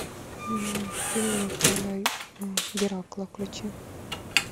фильмы про геракла включи